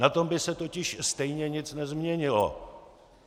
Na tom by se totiž stejně nic nezměnilo.